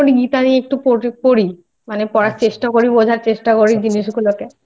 মোটামুটি গীতা নিয়ে একটু পড়ি মানে পড়ার চেষ্টা করি আচ্ছা আচ্ছা আচ্ছা বোঝার চেষ্টা করি জিনিস গুলোকে